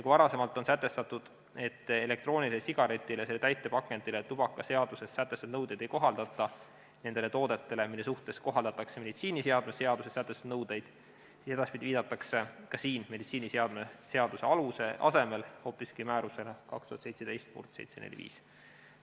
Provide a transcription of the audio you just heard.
Kui varem oli sätestatud, et elektroonilisele sigaretile ja selle täitepakendile tubakaseaduses sätestatud nõudeid ei kohaldata nendele toodetele, mille suhtes kohaldatakse meditsiiniseadme seaduses sätestatud nõudeid, siis edaspidi viidatakse ka siin meditsiiniseadme seaduse alusel hoopiski määrusele 2017/745.